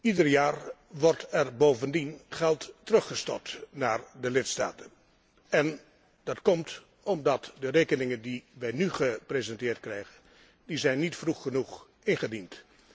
Ieder jaar wordt er bovendien geld teruggestort naar de lidstaten en dat komt omdat de rekeningen die wij nu gepresenteerd krijgen niet vroeg genoeg zijn ingediend.